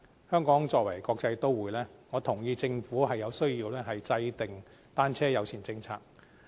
香港作為一個國際都會，我認同政府有需要制訂單車友善政策。